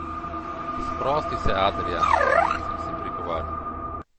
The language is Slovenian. Sprosti se, Adrijan, sem si prigovarjal.